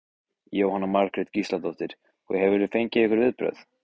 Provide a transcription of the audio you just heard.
Jóhanna Margrét Gísladóttir: Og hefurðu fengið einhver viðbrögð?